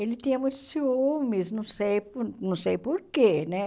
Ele tinha muito ciúmes, não sei por não sei por quê, né?